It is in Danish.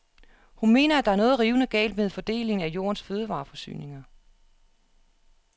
Hun mener at der er noget rivende galt med fordelingen af jordens fødevareforsyninger.